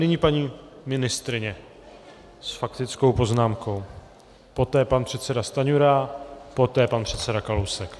Nyní paní ministryně s faktickou poznámkou, poté pan předseda Stanjura, poté pan předseda Kalousek.